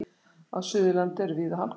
Á Suðurlandi eru víða hálkublettir